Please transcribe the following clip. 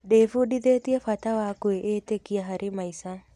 Ndĩbundithĩtie bata wa kwĩĩtĩkia harĩ maica.